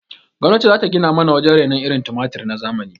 Gwamnati zata gina mana wajen rainon irin tumatir na zamani